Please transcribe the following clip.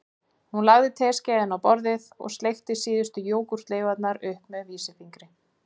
Hún lagði teskeiðina á borðið og sleikti síðustu jógúrtleifarnar upp með vísifingri